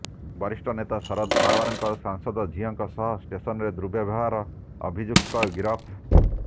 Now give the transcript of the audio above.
ବରିଷ୍ଠ ନେତା ଶରଦ ପୱାରଙ୍କ ସାଂସଦ ଝିଅଙ୍କ ସହ ଷ୍ଟେସନରେ ଦୁର୍ବବ୍ୟବହାର ଅଭିଯୁକ୍ତ ଗିରଫ